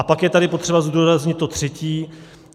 A pak je tady třeba zdůraznit to třetí.